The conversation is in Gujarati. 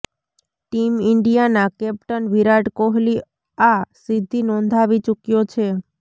ટીમ ઇન્ડીયાના કેપ્ટન વિરાટ કોહલી આ સિદ્ધી નોંધાવી ચુક્યો છે